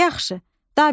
Yaxşı, da bildim.